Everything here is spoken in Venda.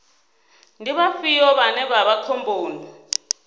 ndi vhafhio vhane vha vha khomboni